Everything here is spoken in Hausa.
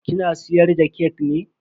Kina siyar da kek ne?